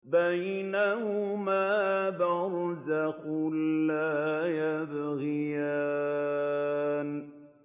بَيْنَهُمَا بَرْزَخٌ لَّا يَبْغِيَانِ